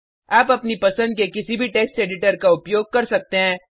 आप अपनी पसंद के किसी भी टेक्स्ट एडिटर का उपयोग कर सकते हैं